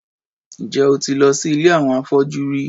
Ǹjẹ́ o ti lọ sí ilé àwọn afọ́jú rí?